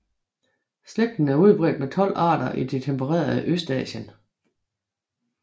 Slægten er udbredt med 12 arter i det tempererede Østasien